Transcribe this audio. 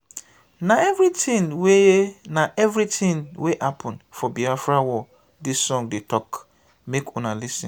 na everytin wey na everytin wey happen for biafra war dis song dey tok make una lis ten.